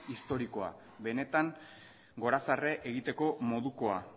historikoa benetan gorazarre egiteko modukoa